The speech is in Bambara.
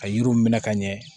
Ka yiriw minɛ ka ɲɛ